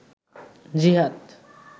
জিহাদ